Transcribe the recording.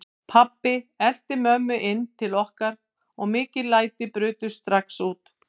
Pabbi elti mömmu inn til okkar og mikil læti brutust strax út.